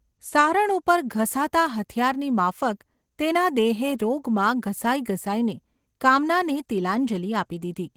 સારણ ઉપર ઘસાતા હથિયારની માફક તેના દેહે રોગમાં ઘસાઈ ઘસાઈને કામનાને તિલાંજલિ આપી દીધી.